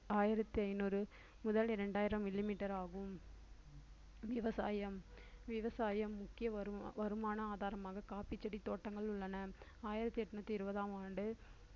ஆயிரத்து ஐந்நூறு முதல் இரண்டாயிரம் millimeter ஆகும் விவசாயம் விவசாயம் முக்கிய வருமா~ வருமான ஆதாரமாக காப்பிச்செடி தோட்டங்கள் உள்ளன ஆயிரத்து எண்ணூத்தி இருபதாம் ஆண்டு